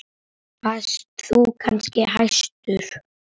Varst þú kannski hæstur?